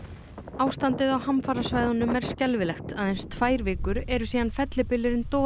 ástandið á hamafarasvæðunum er skelfilegt aðeins tvær vikur eru síðan fellibylurinn